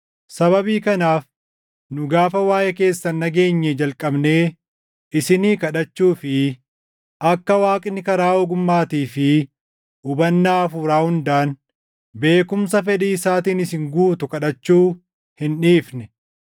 Sababii kanaaf nu gaafa waaʼee keessan dhageenyee jalqabnee isinii kadhachuu fi akka Waaqni karaa ogummaatii fi hubannaa hafuuraa hundaan beekumsa fedhii isaatiin isin guutu kadhachuu hin dhiifne.